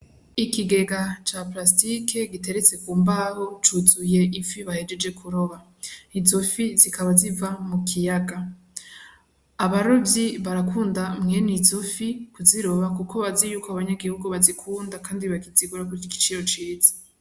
Ikigega ca parastike giteretse ku mbaho, cuzuye ifi bahejeje kuroba. Izo fi zikaba ziva mu kiyaga. Abarovyi barakunda mwene izo fi kuziroba kuko bazi yuko abanyagihugu bazikunda kandi bazigura ku giciro ciza.